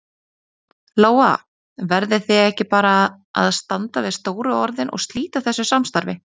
Lóa: Verðið þið ekki bara að standa við stóru orðin og slíta þessu samstarfi?